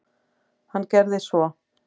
Hann gerði svo.